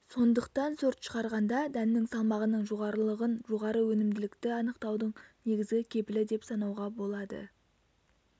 сондықтан сорт шығарғанда дәннің салмағының жоғарылығын жоғары өнімділікті анықтаудың негізгі кепілі деп санауға болады